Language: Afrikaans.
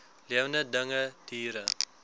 lewende dinge diere